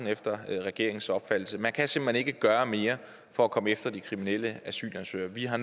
efter regeringens opfattelse man kan simpelt hen ikke gøre mere for at komme efter de kriminelle asylansøgere vi har